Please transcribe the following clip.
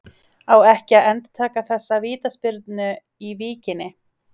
Á ekki að endurtaka þessa vítaspyrnu í Víkinni?